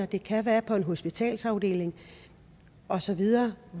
det kan være på en hospitalsafdeling og så videre